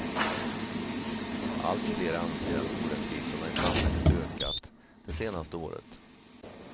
Allt fler anser att orättvisorna i samhället ökat det senaste året.